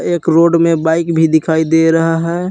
एक रोड में बाइक भी दिखाई दे रहा है।